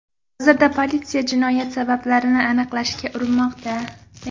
Hozirda politsiya jinoyat sabablarini aniqlashga urinmoqda.